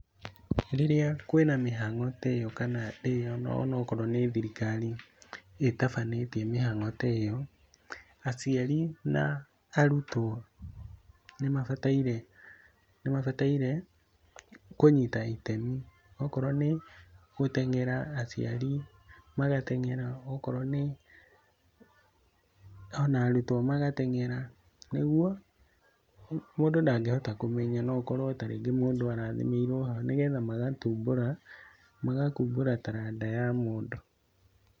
Rĩrĩa kwĩna mĩhango ta ĩyo, kana rĩrĩa onokorwo nĩ thirikari, ĩtabanĩtie mĩhango ta ĩyo, aciari na arutwo nĩmabataire, nĩmabataire, kũnyita itemi. Okorwo nĩ gũtengera, aciari magatengera, akorwo nĩ, ona arutwo magatengera, nĩguo, mũndũ ndangĩhota kũmenya, no ũkorwo ta rĩngĩ mũndũ arathimĩirwo hau, nĩgetha magatumbũra, magakumbũra taranda ya mũndũ.